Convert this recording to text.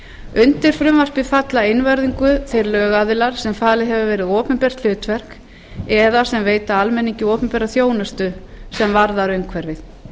undir frumvarpið falla einvörðungu þeir lögaðilar sem falið hefur verið opinbert hlutverk eða sem veita almenningi opinbera þjónustu sem varðar umhverfið